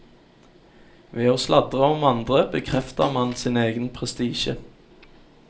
Ved å sladre om andre bekrefter man sin egen prestisje.